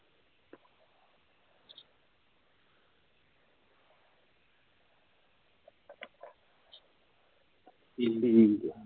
ਕਹਿੰਦੀ ਇੰਝ ਆ